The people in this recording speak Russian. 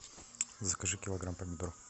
закажи килограмм помидор